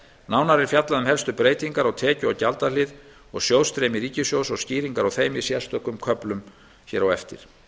nánar er fjallað um helstu breytingar á tekju og gjaldahlið og sjóðstreymi ríkissjóðs og skýringar á þeim í sérstökum köflum hér á eftir